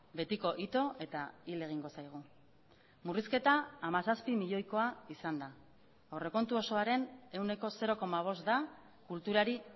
betiko ito eta hil egingo zaigu murrizketa hamazazpi milioikoa izan da aurrekontu osoaren ehuneko zero koma bost da kulturari